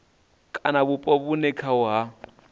kana vhupo vhune khaho ha